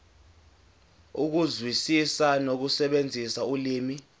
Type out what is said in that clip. ukuzwisisa nokusebenzisa ulimi